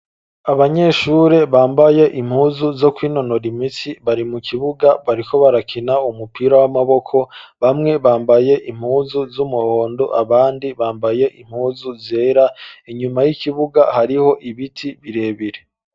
Abanyeshure bambaye impuzu zo kw'inonora imitsi bari mu kibuga bariko barakina umupira w'amaboko bamwe bambaye impuzu z'umuhondo abandi bambaye impuzu zera inyuma y'ikibuga hariho ibiti birebire.